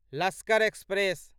Lashkar express